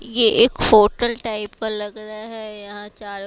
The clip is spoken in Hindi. ये एक होटल टाइप का लग रहा है यहां चारो